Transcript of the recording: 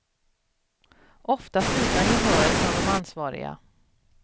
Oftast utan gehör från de ansvariga.